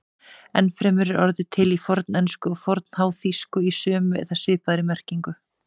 Enn fremur er orðið til í fornensku og fornháþýsku í sömu eða svipaðri merkingu.